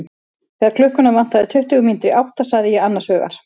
Þegar klukkuna vantaði tuttugu mínútur í átta sagði ég annars hugar.